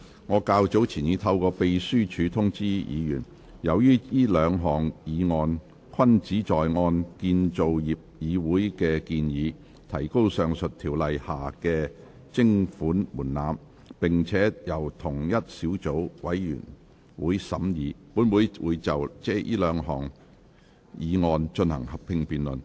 我較早前已透過秘書處通知議員，由於這兩項議案均旨在按建造業議會的建議，提高上述條例下的徵款門檻，並且由同一個小組委員會審議，本會會就這兩項議案進行合併辯論。